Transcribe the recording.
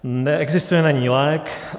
Neexistuje na ni lék.